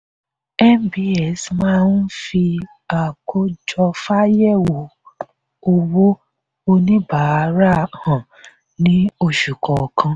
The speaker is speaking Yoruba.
nbs máa ń fi àkójọfáyẹ̀wò owó oníbàárà hàn ní oṣù kọ̀ọ̀kan.